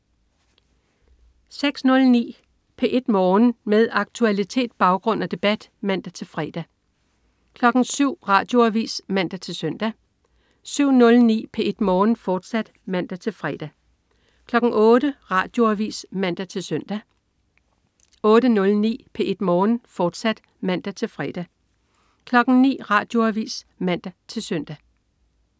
06.09 P1 Morgen. Med aktualitet, baggrund og debat (man-fre) 07.00 Radioavis (man-søn) 07.09 P1 Morgen, fortsat (man-fre) 08.00 Radioavis (man-søn) 08.09 P1 Morgen, fortsat (man-fre) 09.00 Radioavis (man-søn)